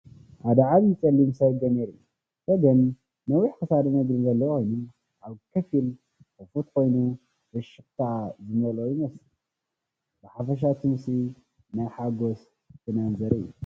ሓደ ዓብይ ጸሊም ሰገን የርኢ። ሰገን ነዊሕ ክሳድን እግርን ዘለዎ ኮይኑ፡ ኣፉ ብኸፊል ክፉት ኮይኑ፡ ፍሽኽታ ዝመልኦ ይመስል። ብሓፈሻ እቲ ምስሊ ናይ ሓጎስን ፍናንን ዘርኢ እዩ።